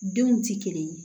Denw tɛ kelen ye